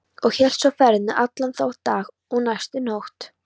Og hélt svo ferðinni allan þann dag og næstu nótt.